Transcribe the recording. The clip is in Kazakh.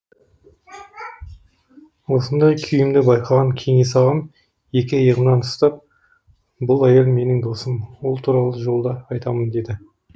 осындай күйімді байқаған кеңес ағам екі иығымнан ұстап бұл әйел менің досым ол туралы жолда айтамын деді